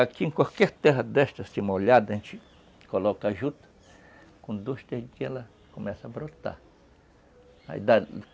Aqui em qualquer terra desta assim molhada, a gente coloca a juta, com dois, três dias ela começa a brotar